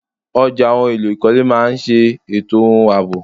Ọjà ohun èlò ìkọ́lé máa ni ṣe ètò ohun àbọ̀.